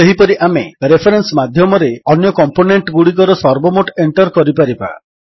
ସେହିପରି ଆମେ ରେଫରେନ୍ସ ମାଧ୍ୟମରେ ଅନ୍ୟ କମ୍ପୋନେଣ୍ଟଗୁଡ଼ିକର ସର୍ବମୋଟ ଏଣ୍ଟର୍ କରିପାରିବା